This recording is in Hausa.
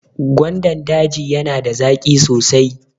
Gwandan daji yana da zaƙi sosai.